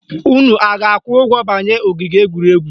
Unu a ga-akwụ ụgwọ banye ogige egwuregwu?